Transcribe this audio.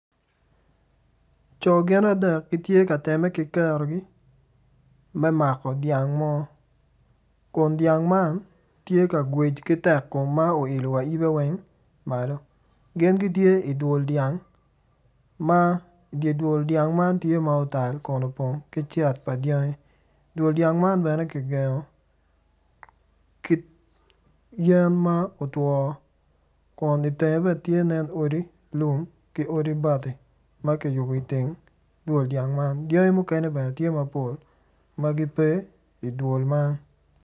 Co gin adek gitye ka temme ki kerogi me mako dyang mo kun dyang man tye ka ngwec ki tekkom ma olio wa yibe malo gin gitye i dwol dyang kun dye dwol dyang man tye ma otal ma opong ki cet dyangi, Dwol dyang man bene ki gengo ki yen ma otwo kun itenge bene tye odi lum ki odi bati ma kiyubo i teng dwol dyang man. Dyangi bene tye mapol ma gipe idwol man.